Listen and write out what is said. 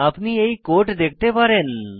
আপনি এই কোড দেখতে পারেন